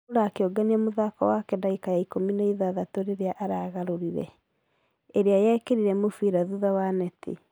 Laura akĩũgania mũthako wake dagika ya ikũmi na ithathatũ rĩrĩa aragarũrire .... ĩrĩa yekerire mũfira thutha wa neti.